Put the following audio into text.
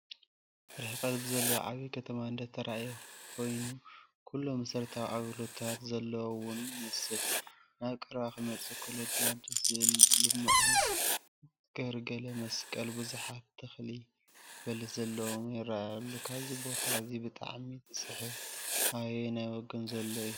ርሐቐት ብዘለዎ ዓብይ ከተማ እንዳተራእየ ኮይኑ ኩሎም መሰረታዊ አገልግሎታት ዘለዎ ውን ይመስል፡፡ ናብ ቀረባ ክመፅእ ከሎ ድማ ደስ ዝብል ልሙዕን ገርገለ መስቀለ፣ ብዙሓት ተኽሊ በለስ ዘለዎን ይራኣይሉ፡፡ ካብዚ ቦታ እዚ ብጣዕሚ ዝስሕብ ኣበየናይ ወገን ዘሎ እዩ?